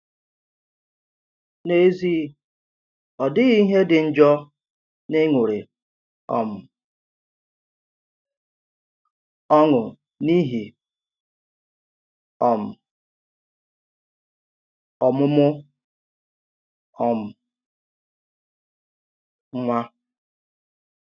N’ezì, ọ dìghị ihe dì njọ n’ịṅùrị um ọṅụ n’ìhì um ọmụmụ um nwa.